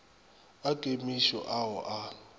a kemišo a o a